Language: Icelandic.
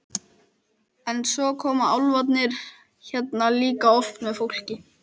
En svo koma álfarnir hérna líka oft með fólki.